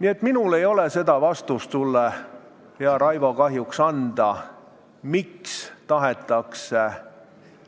Nii et minul ei ole sulle, hea Raivo, kahjuks anda seda vastust, miks tahetakse